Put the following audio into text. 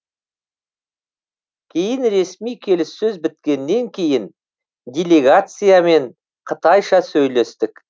кейін ресми келіссөз біткеннен кейін делегациямен қытайша сөйлестік